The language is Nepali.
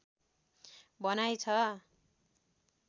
भनाइ छ